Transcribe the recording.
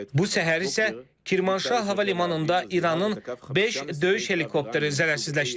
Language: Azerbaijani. Bu səhər isə Kirmanşah hava limanında İranın beş döyüş helikopteri zərərsizləşdirilib.